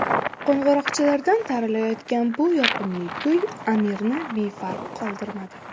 Qo‘ng‘iroqchalardan taralayotgan bu yoqimli kuy Amirni befarq qoldirmadi.